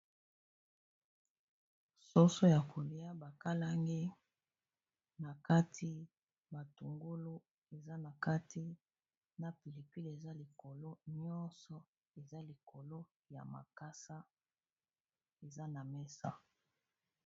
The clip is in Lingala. Soso ya kolia bakalangi na kati matungulu eza na kati na pilipili eza likolo nyonso eza likolo ya makasa eza na mesa.